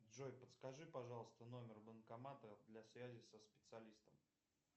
джой подскажи пожалуйста номер банкомата для связи со специалистом